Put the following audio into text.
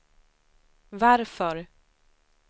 varför